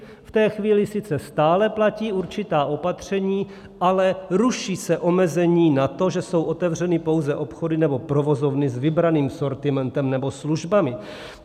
V té chvíli sice stále platí určitá opatření, ale ruší se omezení na to, že jsou omezeny pouze obchody nebo provozovny s vybraným sortimentem nebo službami.